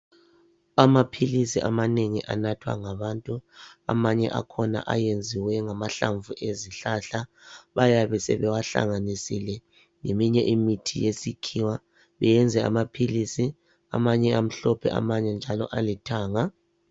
Amaphilisi amanengi anathwa ngabantu amanye akhona ayenziwe ngamahlamvu lezihlahla. Bayabe sebewahlanganisile leminye imithi yesikhiwa. Beyenze amaphilisi, amanye amhlophe, amanye njalo alithanga.